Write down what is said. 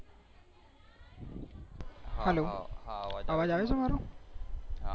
hello અવાજ આવે છે મારો